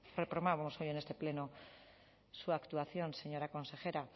reprobamos hoy en este pleno su actuación señora consejera